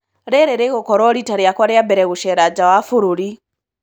Rĩrĩ rĩgũkorwo riĩta rĩakwa rĩa mbere gũceera nja wa bũrũri.